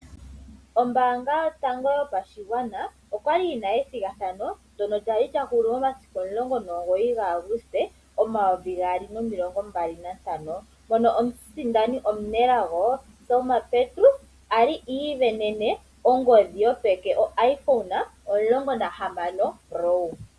Ombaanga yotango yopashigwana okwali yina ethigathano ndono lyali lyahulu momasiku omulongo nomugoyi ga Aguste omayovi gaali nomilongombali nantano mono omusindani omu nelago Selma Petrus I isindanena ongodhi yopeke o IPhone 16 pro.